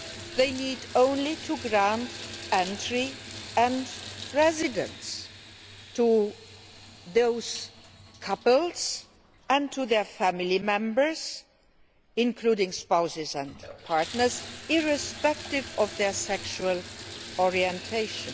They need simply to grant entry and residence to the couples in question and to their family members, including spouses and partners, irrespective of their sexual orientation.